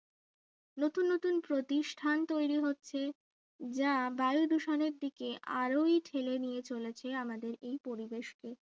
নতুন নতুন প্রতিষ্ঠান তৈরি হচ্ছে যা বায়ু দূষণের দিকে আরোই ঠেলে নিয়ে চলেছে আমাদের এই পরিবেশকে